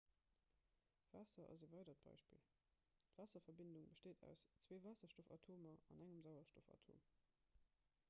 waasser ass e weidert beispill d'waasserverbindung besteet aus zwee waasserstoffatomer an engem sauerstoffatom